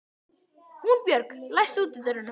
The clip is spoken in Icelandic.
Húnbjörg, læstu útidyrunum.